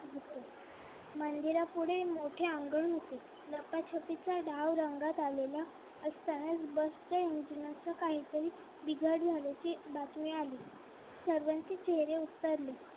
मंदिरापुढे मोठे अंगण होते लपाछपीचा डाव रंगात आलेला असताना बसच engine असं काही तरी बिघाड झाल्याची बातमी आली सर्वांचे चेहरे उतरले